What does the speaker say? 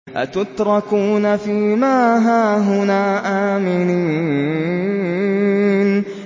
أَتُتْرَكُونَ فِي مَا هَاهُنَا آمِنِينَ